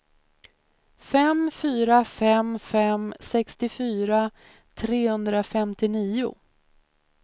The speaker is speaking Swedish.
fem fyra fem fem sextiofyra trehundrafemtionio